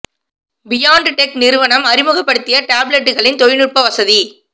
beyond tech நிறுவனம் அறிமுகப்படுத்திய டேப்லட்டுகளின் தொழிநுட்ப வசதி